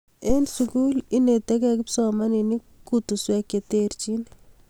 en sukul inetekei kipsomaninik kotoswek cheterchin